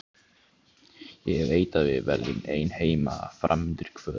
Ég veit að við verðum ein heima fram undir kvöld.